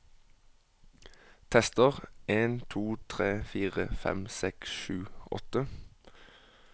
Tester en to tre fire fem seks sju åtte